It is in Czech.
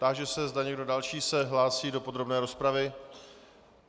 Táži se, zda někdo další se hlásí do podrobné rozpravy.